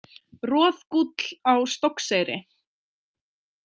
Roðgúll á Stokkseyri.